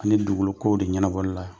Ani dugukolokow de ɲɛnabɔli la.